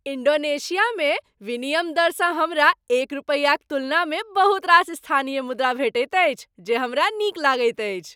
इन्डोनेशियामे विनिमय दरसँ हमरा एक रुपयाक तुलनामे बहुत रास स्थानीय मुद्रा भेटैत अछि जे हमरा नीक लगैत अछि।